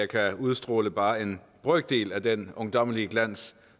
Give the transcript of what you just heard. kan udstråle bare en brøkdel af den ungdommelige glans